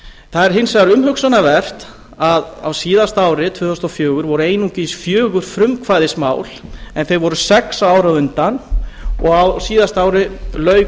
það er hins vegar umhugsunarvert að á síðasta ári tvö þúsund og fjögur voru einungis fjögur frumkvæðismál en þau voru sex árið á undan og á síðasta ári lauk